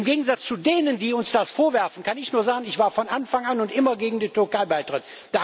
Im Gegensatz zu denen, die uns das vorwerfen, kann ich nur sagen Ich war von Anfang an und immer gegen den Türkei Beitritt.